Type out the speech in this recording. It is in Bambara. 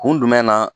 Kun jumɛn na